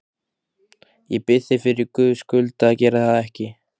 Ég bið þig fyrir Guðs skuld að gera það ekki!